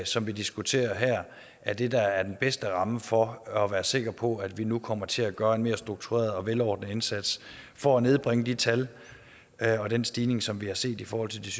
som vi diskuterer her er det der er den bedste ramme for at være sikker på at vi nu kommer til at gøre en mere struktureret og velordnet indsats for at nedbringe de tal og den stigning som vi har set i forhold til